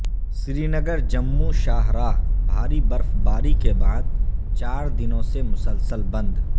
سرینگر جموں شاہراہ بھاری برفباری کے بعد چار دونوں سے مسلسل بند